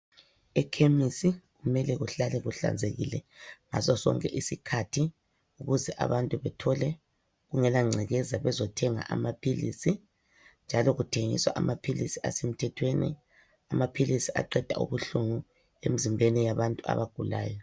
Ekhemisi kumele kuhlale kuhlanzekile ngasosonke isikhathi ukuze abantu bethole kungelangcekeza bezothenga amaphilisi njalo kuthengiswa amaphilisi asemthethweni, amaphilisi aqeda ubuhlungu emzimbeni yabantu abagulayo.